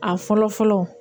A fɔlɔ fɔlɔ